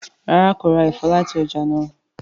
ràrá kò rá èfó láti ọjà náa.